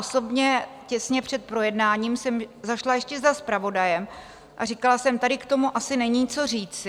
Osobně těsně před projednáním jsem zašla ještě za zpravodajem a říkala jsem: Tady k tomu asi není co říci.